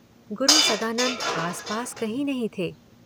गुरु सदानंद आसपास कहीं नहीं थे।